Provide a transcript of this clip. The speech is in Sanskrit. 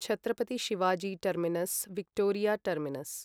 Chhatrapati Shivaji terminus Victoria terminus